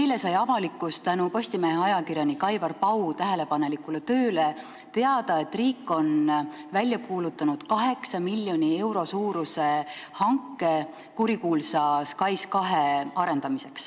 Eile sai avalikkus tänu Postimehe ajakirjaniku Aivar Pau tähelepanelikule tööle teada, et riik on välja kuulutanud 8 miljoni euro suuruse hanke kurikuulsa SKAIS2 arendamiseks.